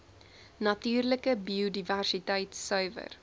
natuurlike biodiversiteit suiwer